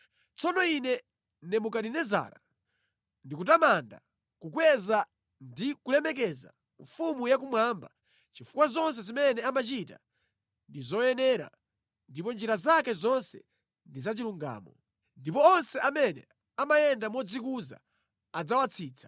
Tsopano ine Nebukadinezara, ndikutamanda, kukweza ndi kulemekeza Mfumu yakumwamba chifukwa zonse zimene amachita ndi zoyenera ndipo njira zake zonse ndi zachilungamo. Ndipo onse amene amayenda modzikuza adzawatsitsa.